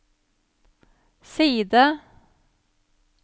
side